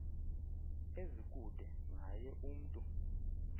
ezikude naye umntu